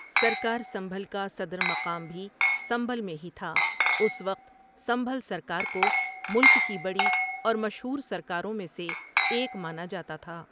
سرکار سنبھل کا صدر مقام بھی سنبھل میں ہی تھا اُس وقت سنبھل سرکار کو ملک کی بڑی اور مشہور سرکاروں میں سے ایک مانا جاتا تھا ۔